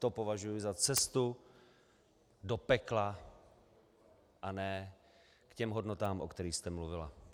To považuji za cestu do pekla a ne k těm hodnotám, o kterých jste mluvila.